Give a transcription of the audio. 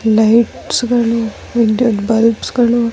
lights ಗಳು ವಿದ್ಯುತ್ bulbs ಗಳು --